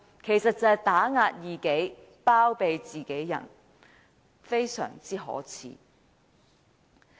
其實即打壓異己，包庇自己人，非常可耻。